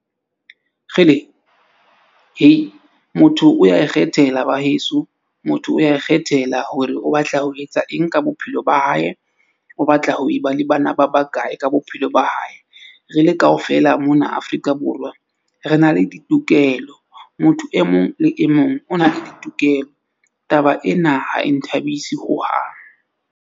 Motho o ya ikgethela ba heso, motho o ya ikgethela hore o batla ho etsa eng ka bophelo ba hae. O batla ho e ba le bana ba bakae ka bophelo ba hae. Re le kaofela mona Afrika Borwa re na le ditokelo. Motho e mong le e mong o na le ditokelo. Taba ena ha e nthabise hohang.